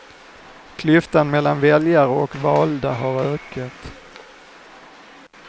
Klyftan mellan väljare och valda har ökat.